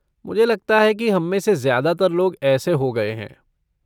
मुझे लगता है कि हम में से ज्यादातर लोग ऐसे हो गए हैं।